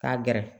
K'a gɛrɛ